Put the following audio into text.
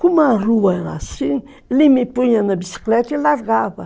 Como a rua era assim, ele me punha na bicicleta e largava.